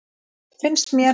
Finnst mér.